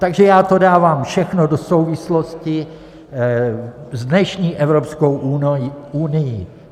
Takže já to dávám všechno do souvislosti s dnešní Evropskou unií.